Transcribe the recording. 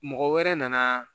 Mɔgɔ wɛrɛ nana